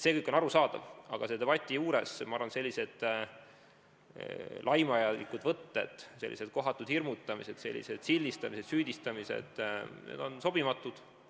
See kõik on arusaadav, aga selle debati juures, ma arvan, on sellised laimavad võtted, kohatud hirmutamised, sildistamised, süüdistamised, sobimatud.